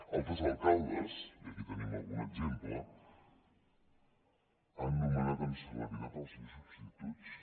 altres alcaldes i aquí en tenim algun exemple han nomenat amb celeritat els seus substituts